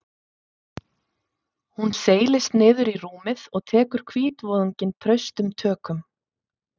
Hún seilist niður í rúmið og tekur hvítvoðunginn traustum tökum.